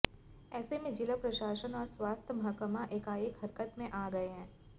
ऐसे में जिला प्रशासन और स्वास्थ्य महकमा एकाएक हरकत में आ गए हैं